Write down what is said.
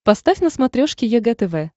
поставь на смотрешке егэ тв